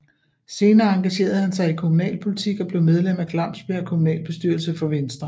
Senere engagnerede han sig i kommunalpolitik og blev medlem af Glamsbjerg Kommunalbestyrelse for Venstre